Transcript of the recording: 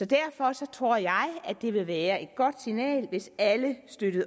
derfor tror jeg at det vil være et godt signal hvis alle støtter